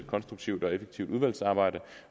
konstruktivt og effektivt udvalgsarbejde